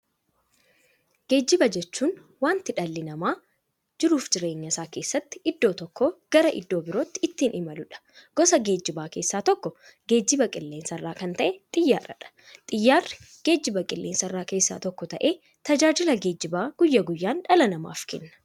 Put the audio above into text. Geejjiba jechuun wanta dhalli namaa jiruuf jireenya isaa keessatti iddoo tokkoo gara iddoo birootti ittiin imaluudha. Gosa geejjibaa keessaa tokko geejjiba qilleensarraa kan ta'e Xiyyaaradha. Xiyyaarri geejjibaa qilleensarraa keessaa tokko ta'ee, tajaajila geejjibaa guyyaa guyyaan dhala namaaf kenna.